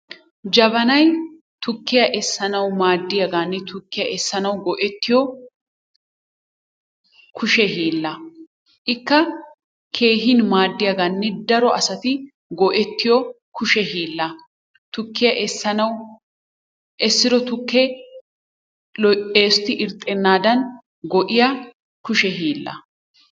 Jabanay tukkiya essanawu maaddiyagaanne tukkiya essanawu go'ettiyo kushe hiilla. Ikka keehin maaddiyagaanne daro asati go'ettiyo keshe hiillaa. Tukkiya essanawu essido tukkee eesoti irxxennaadan go'iya keshe hiillaa.